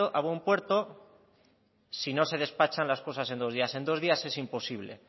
puerto si no se despachan las cosas en dos días en dos días es imposible